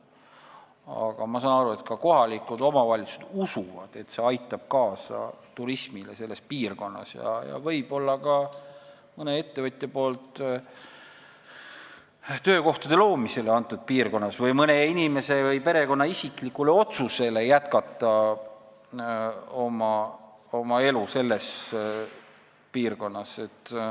Aga ma saan aru, et ka kohalikud omavalitsused usuvad, et see aitab kaasa turismi elavdamisele selles piirkonnas, võib-olla ka mõne ettevõtja poolsele töökohtade loomisele või mõne inimese või perekonna isiklikule otsusele jätkata oma elu selles piirkonnas.